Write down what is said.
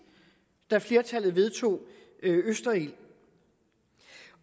da flertallet vedtog østerild